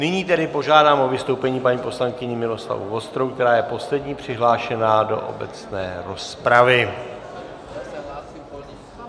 Nyní tedy požádám o vystoupení paní poslankyni Miloslavu Vostrou, která je poslední přihlášená do obecné rozpravy.